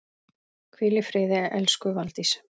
Hvíl í friði elsku Valdís.